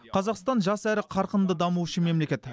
қазақстан жас әрі қарқынды дамушы мемлекет